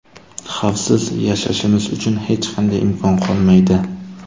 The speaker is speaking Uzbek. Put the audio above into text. Xavfsiz yashashimiz uchun hech qanday imkon qolmaydi.